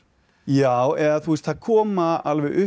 já eða það koma alveg upp